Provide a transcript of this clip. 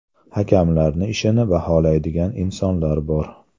Hakamlarni ishini baholaydigan insonlar bor.